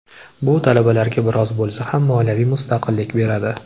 Bu talabalarga biroz bo‘lsa ham moliyaviy mustaqillik beradi.